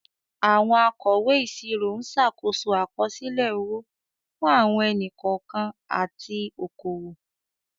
Àwọn akọ̀wé ìṣirò ń ṣàkóso àkọsílẹ̀ owó fún àwọn ẹni-kọ̀ọ̀kan àti okòwò.